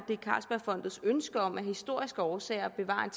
er carlsbergfondets ønske om af historiske årsager at bevare en